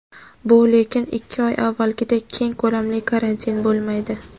bu lekin ikki oy avvalgidek keng ko‘lamli karantin bo‘lmaydi.